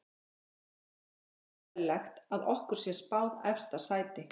Mér finnst ekki óeðlilegt að okkur sé spáð efsta sæti.